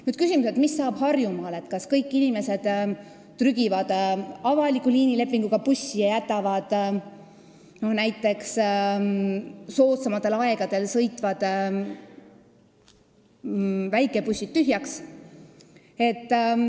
Nüüd küsimus, mis hakkab saama Harjumaal, kas kõik inimesed hakkavad trügima avaliku liinilepingu alusel töötavasse bussi ja jätavad näiteks soodsamatel aegadel sõitvad väikebussid tühjaks.